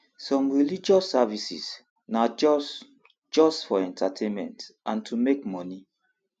some religious services na just just for entertainment and to take make moni